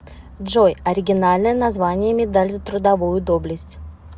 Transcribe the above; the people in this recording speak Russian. джой оригинальное название медаль за трудовую доблесть